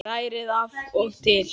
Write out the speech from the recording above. Hrærið af og til.